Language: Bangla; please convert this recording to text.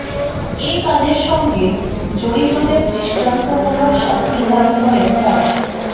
এ কাজের সঙ্গে জড়িতদের দৃষ্টান্তমূলক শাস্তি দাবি করেন তারা